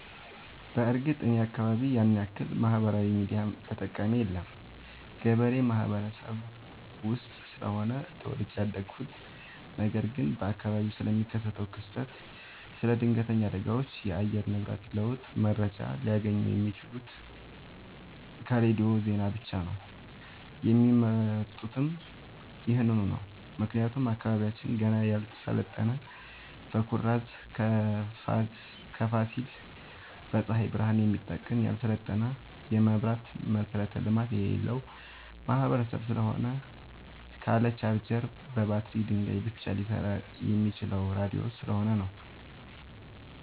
በርግጥ እኔ አካባቢ ያንያክል ማህበራዊ ሚዲያ ተጠቀሚ የለም ገበሬ ማህበረሰብ ውስጥ ስለሆነ ተወልጄ ያደኩት ነገር ግን በአካባቢው ስለሚከሰት ክስተት ስለ ድነገተኛ አደጋዎች የአየር ንብረት ለውጥ መረጃ ሊያገኙ የሚችሉት ከሬዲዮ ዜና ብቻ ነው የሚመርጡትም ይህንኑ ነው ምክንያቱም አካባቢያችን ገና ያልሰለጠነ በኩራዝ ከፋሲል በፀሀይ ብረሃን የሚጠቀም ያልሰለጠነ የመብራት መሠረተ ልማት የሌለበት ማህበረሰብ ስለሆነ ካለ ቻርጀር በባትሪ ድንጋይ ብቻ ሊሰራ የሚችለው ራዲዮ ስለሆነ ነው።